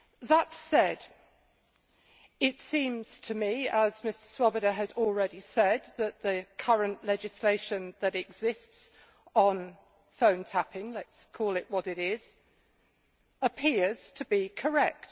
That said, it seems to me, as Mr Swoboda has already said, that the current legislation that exists on phone tapping let us call it what it is appears to be correct.